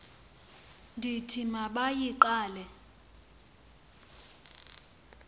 ndithi ma bayigqale